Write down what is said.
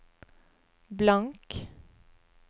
blank